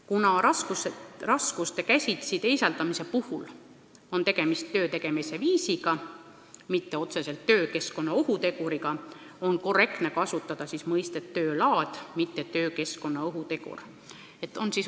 Kuna raskuste käsitsi teisaldamise puhul on tegemist töö tegemise viisiga, mitte otseselt töökeskkonna ohuteguriga, on korrektne kasutada sõnapaari "töö laad", mitte "töökeskkonna ohutegur".